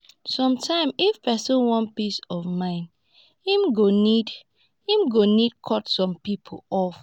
sometimes if pesin wan peace of mind em go need em go need cut some people off.